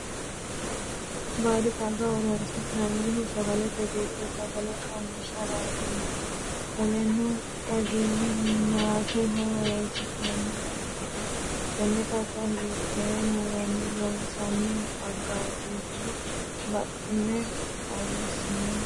Baadi xagga horoonsi'nannihu sagalete gido sagale coomishiratenna qoleno xaginnaateho honsiranoha ikanna tenne xagga hiitee muronni loonsoonni xagatiru buuxine xawisine kule?